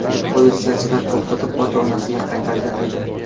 Uni politsiyachilar to‘xtatib, ota-onasiga qaytargan edi.